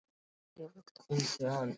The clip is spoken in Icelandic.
Dyrabjallan hringdi og þau hrukku við.